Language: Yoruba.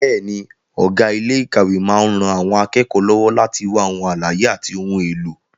Bẹ́ẹ̀ni, ọ̀gá ilé ìkàwé máa ń ran àwọn akẹ́kọ̀ọ́ lọ́wọ́ láti wá ohun àlàyé àti ohun èlò.